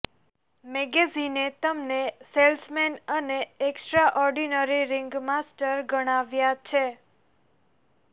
મેગેઝિને તેમને સેલ્સમેન અને extraordinary ringmaster ગણાવ્યા છે